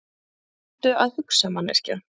Reyndu að hugsa, manneskja.